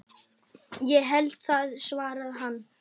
Ég held það svarar hann.